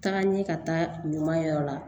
Taga n ye ka taa ɲuman la